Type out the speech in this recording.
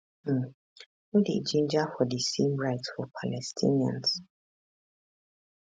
um no dey ginger for di same rights for palestinians